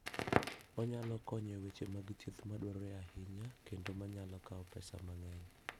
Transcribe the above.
Onyalo konyo e weche mag thieth madwarore ahinya, kendo ma nyalo kawo pesa mang'eny.